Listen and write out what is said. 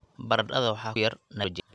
Baradhada waxaa ku yar nitrogen.